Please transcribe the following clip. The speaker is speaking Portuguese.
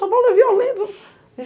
São Paulo é violento.